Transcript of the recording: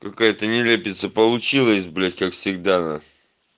какая-то нелепица получилось блять как всегда на